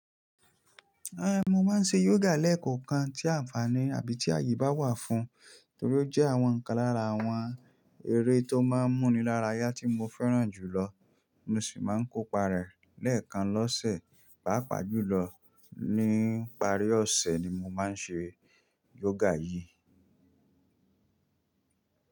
Eh, mo máa ń ṣe yoga lẹ́ẹ̀kọ̀kan tí àǹfààní àbí tí àyè bá wà fún, torí ó jẹ́ àwọn kan lára àwọn eré tó máa ń múni lára yá tí mo fẹ́ràn jùlọ. Mo sì máa ń kópa rẹ̀ lẹ́ẹ̀kan lọ́sẹ̀, pàápàá jùlọ ní ìparí ọ̀sẹ̀ ni mo máa ń ṣe yoga yìí.